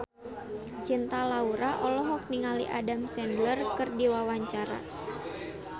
Cinta Laura olohok ningali Adam Sandler keur diwawancara